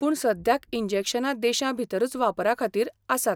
पूण सद्याक इंजेक्शनां देशांभितरूच वापरा खातीर आसात.